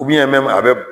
a bɛ